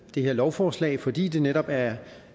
det her lovforslag fordi det netop er